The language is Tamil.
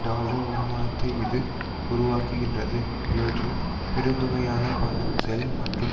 டொலர் வருமானத்தை இது உருவாக்குகின்றது இவற்றில் பெருந்தொகையான பணம் செல் மற்றும்